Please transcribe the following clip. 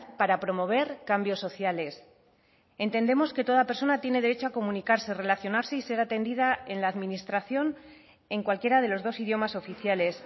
para promover cambios sociales entendemos que toda persona tiene derecho a comunicarse relacionarse y ser atendida en la administración en cualquiera de los dos idiomas oficiales